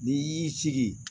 N'i y'i sigi